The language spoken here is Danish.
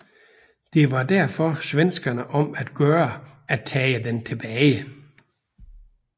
Det var derfor svenskerne om at gøre at tage den tilbage